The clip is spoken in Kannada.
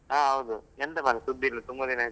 ಹಾ ಹೌದು. ಎಂತ ಮಾರ್ರೆ ಸುದ್ದಿ ಇಲ್ಲ ತುಂಬ ದಿನ ಆಯ್ತು.